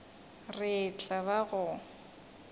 re e tla ba go